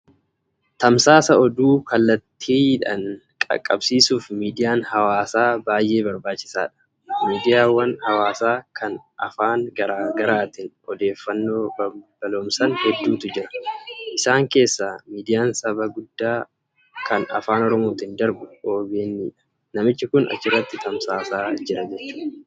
Tamsaasa oduu kallattiinhawaaa qaqqabsiisuuf midiyaan hawaasaa baay'ee barbaachisaadha. Miidiyaawwan hawaasaa ka Afaan garaa gaaatiin odeeffannoo balballoomsan hedduutu jiru. Isaan keessaa midiyaan Saba guddaa ka afaan Oromootiin darbu OBN dha. Namichi Kun achirratti oduu tamsaasaa jira.